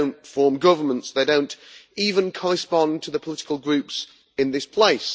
they do not form governments they do not even correspond to the political groups in this place.